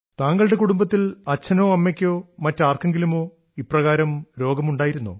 താങ്കളുടെ കുടുംബത്തിൽ അച്ഛനോ അമ്മയ്ക്കോ മറ്റാർക്കെങ്കിലുമോ ഇപ്രകാരം രോഗമുണ്ടായിരുന്നോ